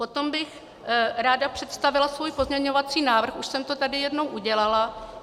Potom bych ráda představila svůj pozměňovací návrh, už jsem to tady jednou udělala.